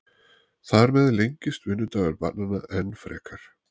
Þar með lengist vinnudagur barnanna enn frekar.